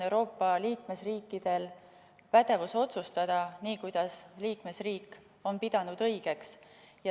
Euroopa liikmesriikidel on igaühel pädevus otsustada ja teha nii, kuidas liikmesriik on pidanud õigeks.